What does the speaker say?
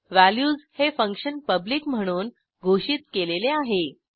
values हे function public म्हणून घोषित केलेले आहे